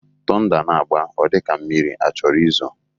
Tọnda na-agba, ọ dịka mmiri achọrọ izo